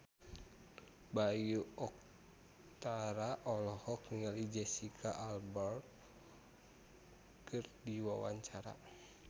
Bayu Octara olohok ningali Jesicca Alba keur diwawancara